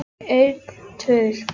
En það gekk mér úr greipum.